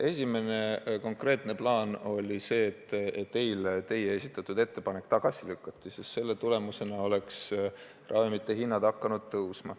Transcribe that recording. Esimene konkreetne plaan oli saavutada, et eile teie esitatud eelnõu tagasi lükataks, sest selle tulemusena oleks ravimite hinnad hakanud tõusma.